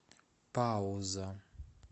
пауза